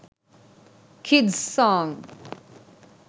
kids song